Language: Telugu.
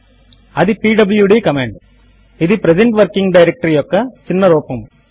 అది పీడ్ల్యూడీ కమాండ్ ఇది ప్రెజెంట్ వర్కింగ్ డైరెక్టరీ యొక్క చిన్న రూపము